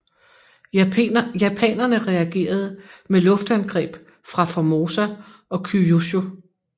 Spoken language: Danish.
Japanerne reagerede med luftangreb fra Formosa og Kyūshū